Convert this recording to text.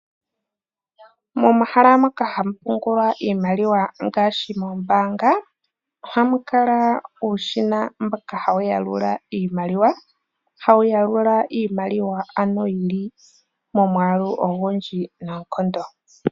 Momahala moka hamu pungulwa iimaliwa ngaashi moombaanga ohamu kala uushina mboka hawu yalula iimaliwa mbyoka yili momwaalu ogundji noonkondo.